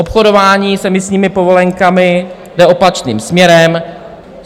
Obchodování s emisními povolenkami jde opačným směrem.